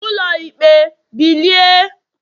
ulo ikpe bilie!